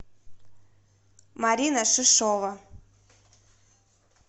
марина шишова